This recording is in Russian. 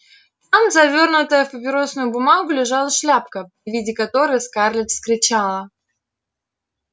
там завёрнутая в папиросную бумагу лежала шляпка при виде которой скарлетт вскричала